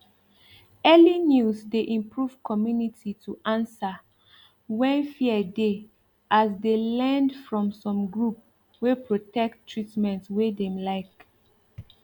early news de improve community to answer when fear de as de learned from some group wey protect treatment wey dem like